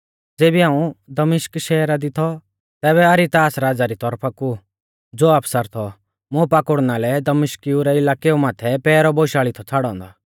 ज़ेबी हाऊं दमिश्क शैहरा दी थौ तैबै अरितास राज़ा री तौरफा कु ज़ो आफसर थौ मुं पाकुड़ना लै दमिश्किउ रै इलाकै माथै पैहरौ बोशाल़ी थौ छ़ाड़ौ औन्दौ